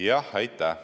Jah, aitäh!